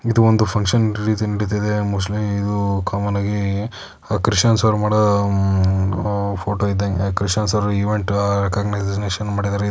ಇದು ಒಂದು function releasing ನಡಿತಿದೆ ಮೋಸ್ಟ್ಲಿ ಇದು ಕಾಮನ್ನಾಗೀ ಅ ಕ್ರಿಷನ್ಸ್ ಅವ್ರು ಮಾಡೋ ಉಮ್ ಓ ಫೋಟೋ ಇದ್ದಂಗೆ ಕ್ರಿಷನ್ಸ್ ಅವ್ರು ಈವೆಂಟ್ ಆ ರೆಕಾಗನೈಸೇಷನ್ ಮಾಡಿದ್ದಾರೆ.